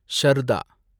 Sharda